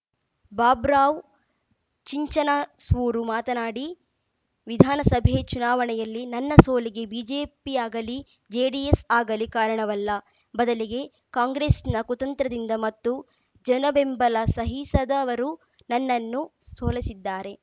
ಬಾಬುರಾವ್‌ ಚಿಂಚನಸೂರು ಮಾತನಾಡಿ ವಿಧಾನಸಭೆ ಚುನಾವಣೆಯಲ್ಲಿ ನನ್ನ ಸೋಲಿಗೆ ಬಿಜೆಪಿಯಾಗಲಿ ಜೆಡಿಎಸ್‌ ಆಗಲಿ ಕಾರಣವಲ್ಲ ಬದಲಿಗೆ ಕಾಂಗ್ರೆಸ್‌ನ ಕುತಂತ್ರದಿಂದ ಮತ್ತು ಜನಬೆಂಬಲ ಸಹಿಸದವರು ನನ್ನನ್ನು ಸೋಲಿಸಿದ್ದಾರೆ